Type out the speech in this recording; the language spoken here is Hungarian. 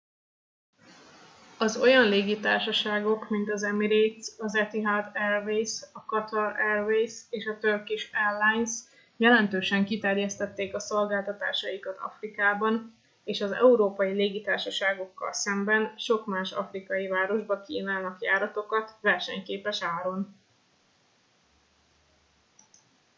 az olyan légitársaságok mint az emirates az etihad airways a qatar airways és a turkish airlines jelentősen kiterjesztették a szolgáltatásaikat afrikában és az európai légitársaságokkal szemben sok más afrikai városba kínálnak járatokat versenyképes áron